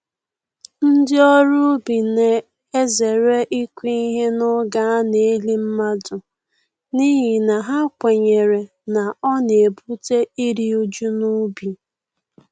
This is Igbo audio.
Ndị ọrụ ubi na-ezere ịkụ ihe n’oge a na-eli mmadụ, n’ihi na ha kwenyere na ọ na-ebute iri uju n'ubi.